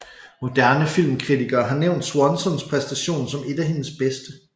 Moderne filmkritikere har nævnt Swansons præstation som et af hendes bedste